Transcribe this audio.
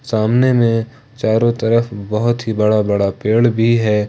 सामने में चारों तरफ बहुत ही बड़ा बड़ा पेड़ भी है।